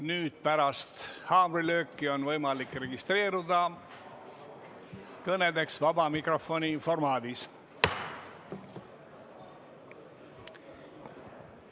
Nüüd on pärast haamrilööki võimalik registreeruda kõneks vaba mikrofoni formaadis.